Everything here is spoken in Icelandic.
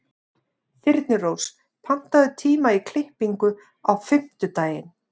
Þyrnirós, pantaðu tíma í klippingu á fimmtudaginn.